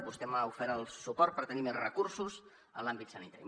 vostè m’ha ofert el suport per tenir més recursos en l’àmbit sanitari